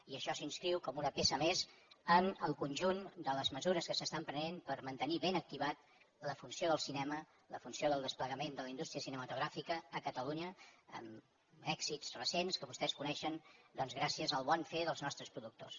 i això s’inscriu com una peça més en el conjunt de les mesures que s’estan prenent per mantenir ben activada la funció del cinema la funció del desplegament de la indústria cinematogràfica a catalunya amb èxits recents que vostès coneixen doncs gràcies al bon fer dels nostres productors